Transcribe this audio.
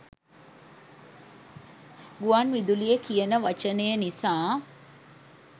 ගුවන් විදුලිය කියන වචනය නිසා.